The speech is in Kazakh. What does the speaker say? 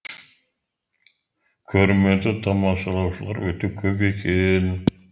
көрмені тамашалаушылар өте көп екен